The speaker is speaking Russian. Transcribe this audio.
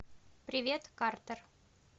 привет картер